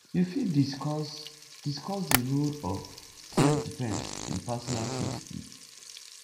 you fit discuss discuss di role of selfdefense in personal safety